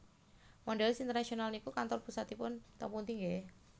Mondelez International niku kantor pusatipun teng pundi nggeh?